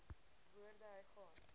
woorde hy gaan